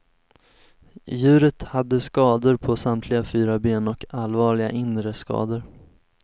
Djuret hade skador på samtliga fyra ben och allvarliga inre skador.